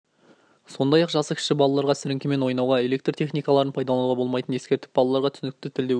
сондай-ақ жасы кіші балаларға сіріңкемен ойнауға электр техникаларын пайдалануға болмайтынын ескертіп балаларға түсінікті тілде өрт